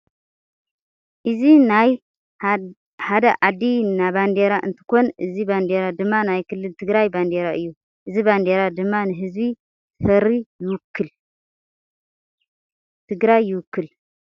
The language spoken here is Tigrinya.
እዚ ናይ ሃደ ዓዲ ናብዴራ እንትኮን እዚ ባንዴራ ድማ ናይ ክልል ትግራይ ቤንዴራ እዩ። እዚ ባንዴራ ድማ ንህዝቢ ትፍራይ ይውክል።